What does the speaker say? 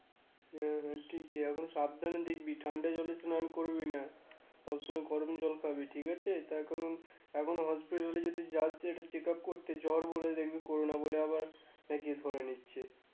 হ্যা হ্যা ঠিকই এখন সাবধানে দেখবি ঠান্ডা জলে স্নান করবি না সবসময় গরম জল খাবি ঠিক আছে তার কারণ এখন hospital এ যদি যাস যে একটা check up করতে জ্বর হলে দেখবি করোনা বলে নাকি আবার ধরে নিচ্ছে